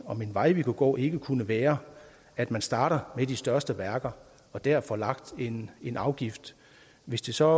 vej vi kunne gå ikke kunne være at man starter med de største værker og dér får lagt en afgift hvis det så